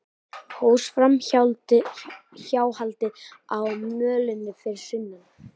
Hófst framhjáhaldið á mölinni fyrir sunnan